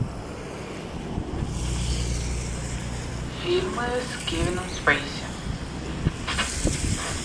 фильмы с кевином спейси